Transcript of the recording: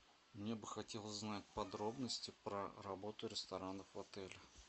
мне бы хотелось знать подробности про работу ресторанов в отеле